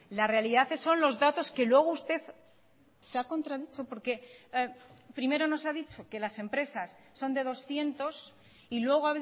la realidad son los datos que luego usted se ha contradicho porque primero nos ha dicho que las empresas son de doscientos y luego